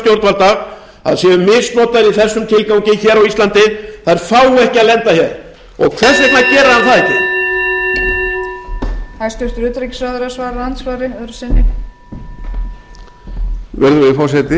stjórnvalda að séu misnotaðar í þessum tilgangi hér á íslandi fái ekki að lenda hér hvers vegna gerir hann það ekki